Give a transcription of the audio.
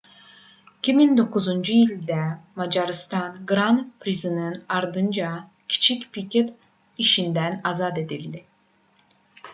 2009-cu ildə macarıstan qran prisinin ardınca kiçik piket işindən azad edildi